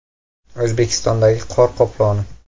O‘zbekistondagi qor qoploni.